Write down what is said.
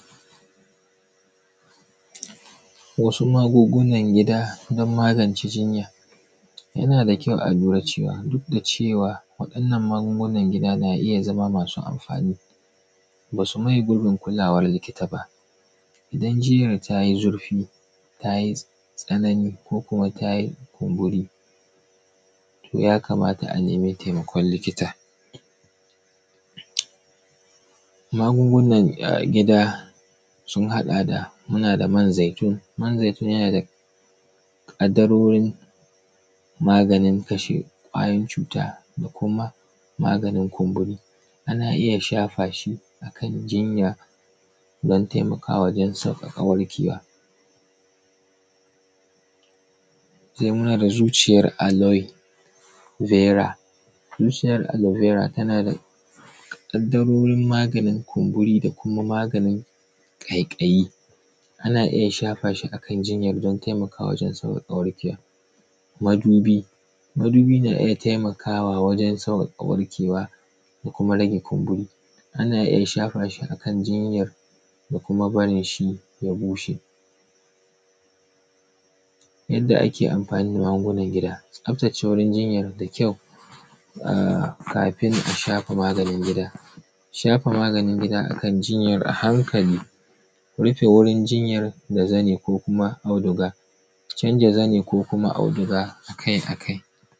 Wasu magungunan gida don magance jinya, yana da kyau a lira cewa, duk da cewa waɗannan magungunan gida na iya zama masu amfani. Ba su maye gurbin kulawn likita ba idan jinya ta yi zurfi, ta yi tsanani ko kuma ta yi kumburi, to yakamata a nemi taimakon likita. Magungunan gida sun haɗa da, muna da man zaitun, man zaitun yana da ƙaddarorin maganin kasha ƙwayoyin cuta da kuma maganin kumburi. Ana iya shafa shi a kan jinya, dan taimakawa dan sauƙaƙa warkewa. Sai muna da zuciyar aluibera, zuciyar aluibera tana da ƙaddarorin maganin kuburi da kuma maganin ƙaiƙayi. Ana iya shafa shi a kan jinyar dan taimakawa dan sauƙaƙa warkewa. Madubi. madubi na iya taimakawa wajen sauƙaƙa warkewa, da kuma kumburi, ana iya shafa shi a kan jinya da kuma barin shu ya bushe. Yadda ake amfani da magungunan gida tsaftace wajen jinyar da kyau, ah kafin a shafa maganin. Shafa maganin gida, Shafa maganin gida a hankali, rufe wurin jinya da zani ko kuma auduga, tanecc zani ko auduga a kai a kai.l.